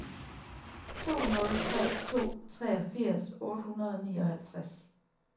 to nul tre to treogfirs otte hundrede og nioghalvtreds